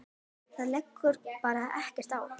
Það liggur bara ekkert á.